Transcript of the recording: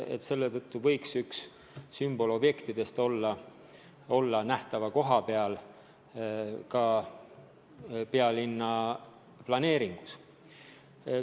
Juba selle tõttu võiks üks sümbolobjektidest olla nähtaval kohal pealinna planeeringus.